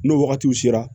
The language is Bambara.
N'o wagatiw sera